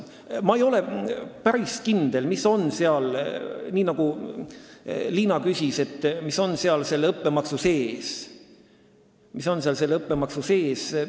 Ma ei ole päris kindel, ka Liina küsis selle kohta, mis on selle õppemaksu sees.